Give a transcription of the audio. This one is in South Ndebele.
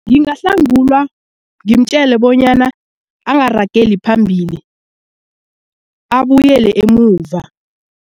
Ngingahlangulwa ngimtjele bonyana angarageli phambili abuyele emuva.